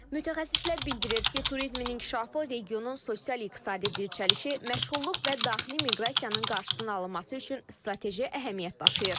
Mütəxəssislər bildirir ki, turizmin inkişafı regionun sosial-iqtisadi dirçəlişi, məşğulluq və daxili miqrasiyanın qarşısını alınması üçün strateji əhəmiyyət daşıyır.